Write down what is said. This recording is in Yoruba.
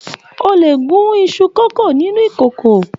O le gún iṣu kókó nínú ìkòkò.